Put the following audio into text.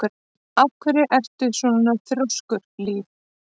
Af hverju ertu svona þrjóskur, Líf?